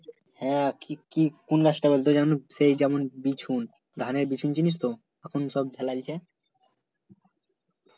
হ্যাঁ কি কি কোন গাছ টা বলতো সে যেমন বিছুন ধানের বিছুন চিনিস তো? তখন সব ফেলায় দিছে